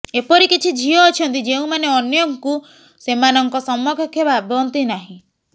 ଏପରି କିଛି ଝିଅ ଅଛନ୍ତି ଯେଉଁମାନେ ଅନ୍ୟଙ୍କୁ ସେମାନଙ୍କ ସମକକ୍ଷ ଭାବନ୍ତି ନାହିଁ